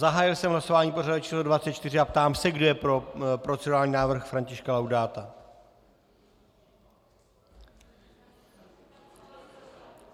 Zahájil jsem hlasování pořadové číslo 24 a ptám se, kdo je pro procedurální návrh Františka Laudáta.